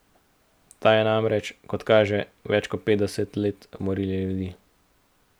Ta je namreč, kot kaže, več kot petdeset let morila ljudi.